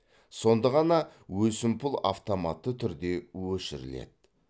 сонда ғана өсімпұл автоматты түрде өшіріледі